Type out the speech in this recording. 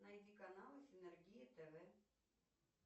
найди каналы синергия тв